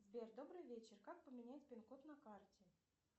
сбер добрый вечер как поменять пин код на карте